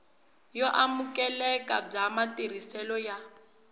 yo amukeleka bya matirhiselo ya